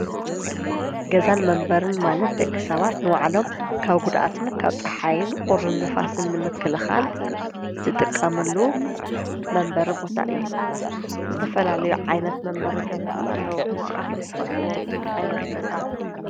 ገዛን መንበርን ማለት ደቂ ሰባት ንባዕሎም ካብ ጕድኣትን ካብ ፀሓይን ቑርን ንፋስን ምክልኻል ዝጥቀምሉ መንበሪ ቦታ እዩ፡፡ ዝተፈላለዩ ዓይነት መንበርን ገዛታት ኣለዉ፡፡ ምስኻቶም ትፈልጥዎም ዓይነት ገዛ ኣሎ ዶ?